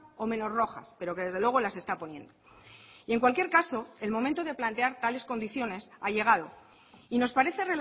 o menos rojas pero que desde luego las está poniendo y en cualquier caso el momento de plantear tales condiciones ha llegado y nos parece